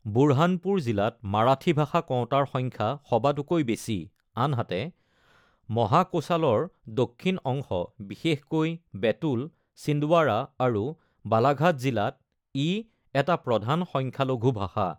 বুৰহানপুৰ জিলাত মাৰাঠী ভাষা কওঁতাৰ সংখ্যা সবাতোকৈ বেছি, আনহাতে মহাকোশালৰ দক্ষিণ অংশ, বিশেষকৈ বেতুল, ছিন্দৱাড়া আৰু বালাঘাট জিলাত ই এটা প্ৰধান সংখ্যালঘু ভাষা।